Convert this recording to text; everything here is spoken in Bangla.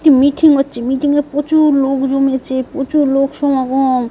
একটি মিটিং হচ্ছে। মিটিং -এ প্রচুর লোক জমেছে। প্রচুর লোক সমাগম।